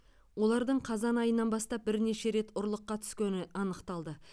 олардың қазан айынан бастап бірнеше рет ұрлыққа түскені анықталды